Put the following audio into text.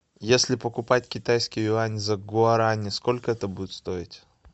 если покупать китайский юань за гуарани сколько это будет стоить